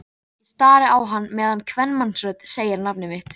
Ég stari á hann meðan kvenmannsrödd segir nafnið mitt.